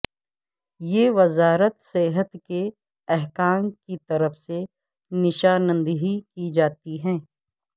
یہ وزارت صحت کے حکام کی طرف سے نشاندہی کی جاتی ہے